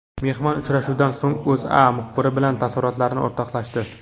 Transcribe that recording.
Mehmon uchrashuvdan so‘ng O‘zA muxbiri bilan taassurotlarini o‘rtoqlashdi .